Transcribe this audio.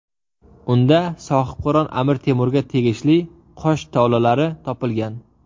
Unda Sohibqiron Amir Temurga tegishli qosh tolalari topilgan.